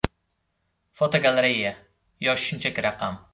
Fotogalereya: Yosh shunchaki raqam.